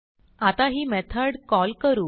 आता ही method call करू